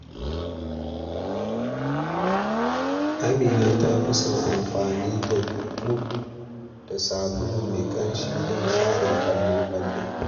Amina ta fi son amfani da mop da sabulu mai ƙamshi don share fale-fale.